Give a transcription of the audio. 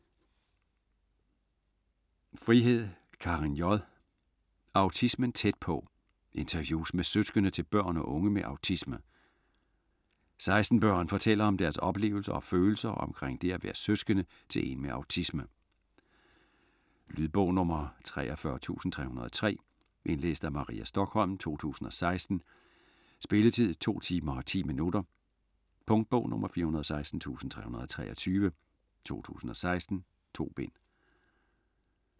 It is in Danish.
Frihed, Karin J.: Autismen tæt på: interviews med søskende til børn og unge med autisme 16 børn fortæller om deres oplevelser og følelser omkring det at være søskende til en med autisme. Lydbog 43303 Indlæst af Maria Stokholm, 2016. Spilletid: 2 timer, 10 minutter. Punktbog 416323 2016. 2 bind.